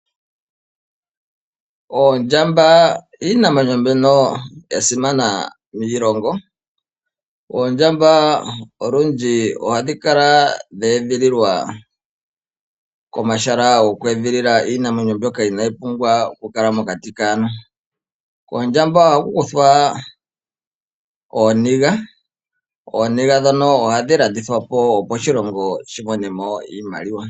Oondjamba iinamwenyo mbyono ya simana miilongo, oondjamba olundji oha dhi kala dheedhililwa komahala go kweedhilila iinamwenyo mbyoka inaa yi pumbwa oku kala mokati kaantu. Koondjamba oha ku kuthwa ooniga, Ooniga ndhono oha dhi landitwapo opo oshilongo shi mone mo iimaliwa.